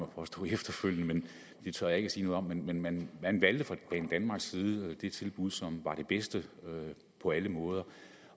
at påstå efterfølgende men det tør jeg ikke sige noget om men men man valgte fra banedanmarks side det tilbud som var det bedste på alle måder